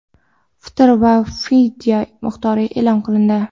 fitr va fidya miqdori e’lon qilindi.